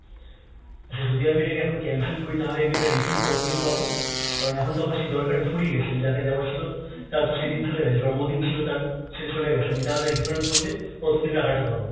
আচ্ছা যদি আমি এটাকে এখন cancel করি তাহলে আমি এটার refund কত দিনে পাবো? কারণ এখন তো আমার সে দরকারটা ফুরিয়ে গেছে, আমি যাকে দেওয়ার ছিল তারা তো সেদিন চলে গেছে। জন্মদিন ছিল তার, সে তো চলে গেছে, আমি তাহলে refund করলে কতদিন টাকাটা পাবো?